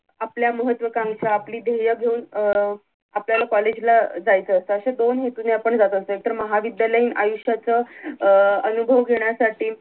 आपल्या महत्वाकांशा आपली धेर्य घेऊन अं आपल्याला कॉलेज ला जायचं असत अश्या दोन हेतूने आपण जात असतो एकतर महाविद्यालयीन आयुष्यच अं अनुभव घेण्यासाठी